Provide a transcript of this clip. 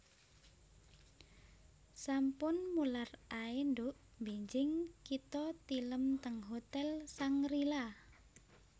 Sampun mular ae nduk mbenjing kita tilem teng hotel Shangri La